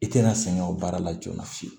I tɛna sɛgɛn o baara la joona fiyewu